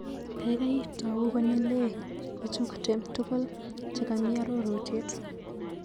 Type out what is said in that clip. Kaikai tau konyilei ichukte tukul chekamii arorutiet.